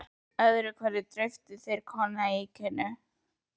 Öðru hverju dreyptu þeir á koníakinu.